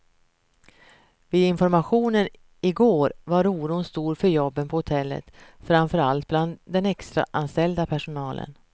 Vid informationen igår var oron stor för jobben på hotellet, framför allt bland den extraanställda personalen.